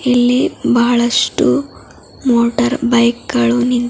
ಇಲ್ಲಿ ಬಹಳಷ್ಟು motorbike ಗಳು ನಿಂತಿ--